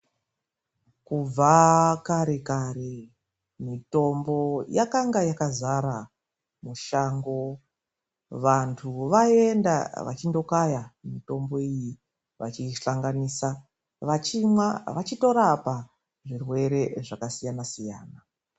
Kubva kare kare mitombo yakange yakazara mushango. Vantu vayienda vachindokaya mitombo iyi vachisanganisa, vachimwa vachitorapa zvirwere zvakasiyana siyana.